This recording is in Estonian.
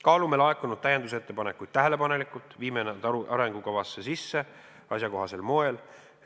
Kaalume laekunud täiendusettepanekuid tähelepanelikult ning viime nad arengukavasse sisse asjakohasel moel.